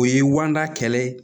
O ye wada kɛlɛ ye